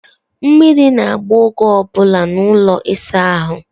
Mmiri na-agba oge ọ bụla n'ụlọ ịsa ahụ.